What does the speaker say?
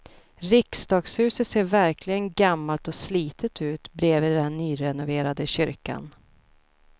Riksdagshuset ser verkligen gammalt och slitet ut bredvid den nyrenoverade kyrkan.